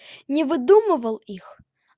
не выдумывал их